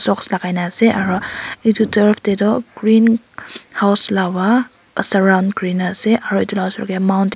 box lakai na ase aro edu turf toh green house laba surround kurina ase aro edu la osor tae mountain .